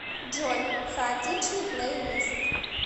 джой хаотичный плейлист